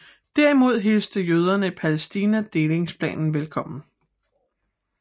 Derimod hilste jøderne i Palæstina delingsplanen velkommen